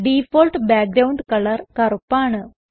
default background colour കറുപ്പാണ്